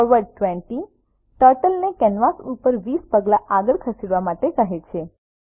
forward 20 turtle ને canvas ઉપર 20 પગલા આગળ ખસવા માટે કહે છે